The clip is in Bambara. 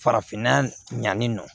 Farafinna ɲani nɔ